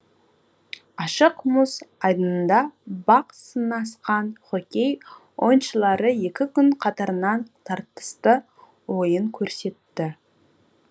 ашық мұз айдынында бақ сынасқан хоккей ойыншылары екі күн қатарынан тартысты ойын көрсетті